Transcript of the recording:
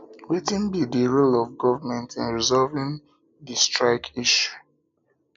wetin be di um role of government in resolving resolving di srike issue